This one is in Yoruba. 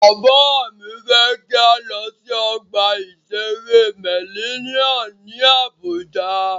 Bàbá mí fẹ́ kí a lọ sí ọgbà ìṣere Mellinnium ní Àbújá.